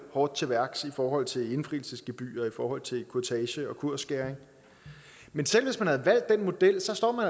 hårdere til værks i forhold til indfrielsesgebyrer og i forhold til kurtage og kursskæring men selv hvis man havde valgt den model stod